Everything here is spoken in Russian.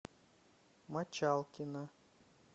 мочалкина